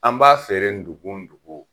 An b'a feere dugun dugun.